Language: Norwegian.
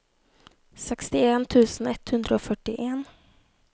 sekstien tusen ett hundre og førtien